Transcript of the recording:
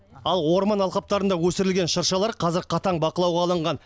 ал орман алқаптарында өсірілген шыршалар қазір қатаң бақылауға алынған